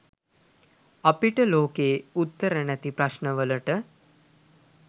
අපිට ලොකයේ උත්තර නැති ප්‍රශ්න වලට